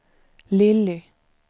Lilly